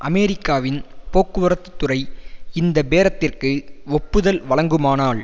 அமெரிக்காவின் போக்குவரத்து துறை இந்த பேரத்திற்கு ஒப்புதல் வழங்குமானால்